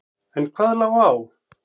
En hvað lá á?